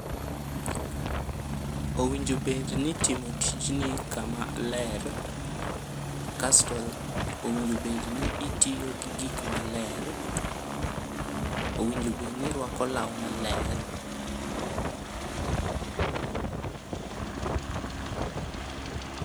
Owinjo bed ni timo tijni kama ler, kasto owinjo bed ni itiyo gi gik maler, owinjo bed ni irwako law maler